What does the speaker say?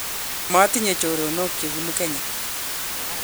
matinye choronok che bunu Kenya